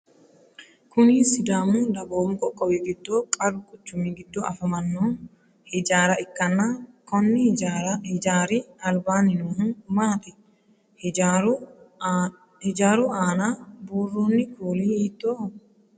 Kunni sadaamu dagoomu qoqqowi gido qaru quchumi gido afamano hijaara ikanna konni hijaari albaanni noohu maati? Hijaaru aanna buuroonni kuuli hiittooho?